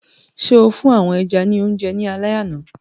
So fún àwọn ẹja ní oúnjẹ ní alẹ àná?